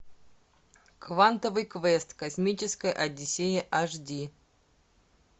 квантовый квест космическая одиссея аш ди